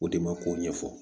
O de ma ko ɲɛfɔ